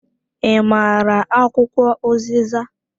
I maara akwụkwọ uziza?